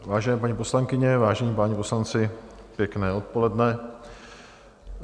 Vážené paní poslankyně, vážení páni poslanci, pěkné odpoledne.